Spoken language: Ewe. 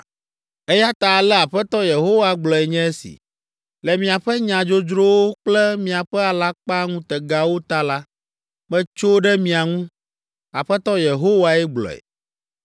“Eya ta ale Aƒetɔ Yehowa gblɔe nye si, ‘Le miaƒe nya dzodzrowo kple miaƒe alakpaŋutegawo ta la, metso ɖe mia ŋu. Aƒetɔ Yehowae gblɔe.